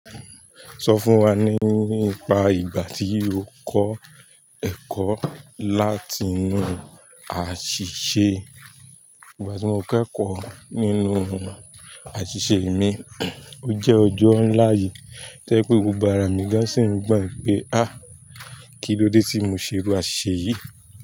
Sọ fún wa nípa ìgbà tí o kọ́ ẹ̀kọ́ láti inú àṣìṣe. Ìgbà tí mo kẹ́kọ̀ọ́ nínú àṣìṣe mi, ó jẹ́ ọjọ́ nlá yìí to jẹ pé gbogbo ára mi gán sì n gbọ̀n pé háà kílódé tí mo ṣe irú àṣìṣe yìí.